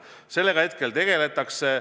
Sellega praegu tegeletakse.